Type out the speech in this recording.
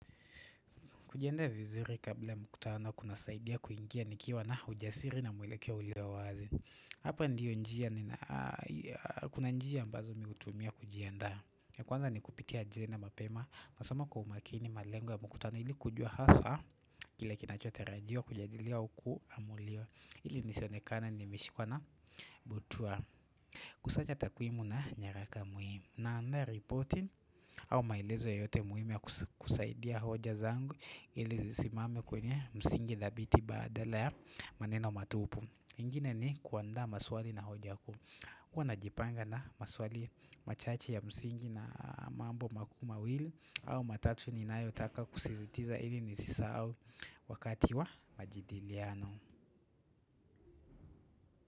Kujiendea vizuri kabla mkutano kuna saidia kuingia nikiwa na ujasiri na mwelekeo uliyo wazi Hapa ndiyo njia kuna njia ambazo mii hutumia kujiandaa Kwanza ni kupitia jina mapema nasoma kwa umakini malengo ya mkutano ili kujua hasa Kile kinacho tarajiwa kujadilia huku ama ulio ili nisionekana ni meshikwa na butwaa kusanya takwimu na nyaraka muhimu hamna reporting au maelezo yoyote muhimi ya kusaidia hoja zangu ili zisimame kwenye msingi dhabiti badala ya maneno matupu. Ingine ni kuandaa maswali na hoja kuu. Huwa najipanga na maswali machache ya msingi na mambo makuu mawili au matatu ni nayotaka kusizitiza ili nisisahau wakati wa majadiliano.